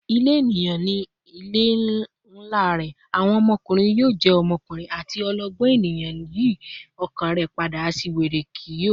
"Ile eniyan ni ile nla rẹ," "Awọn ọmọkunrin yoo jẹ ọmọkunrin," ati "Ọlọgbọn eniyan yi ọkàn rẹ pada; aṣiwere kii yoo."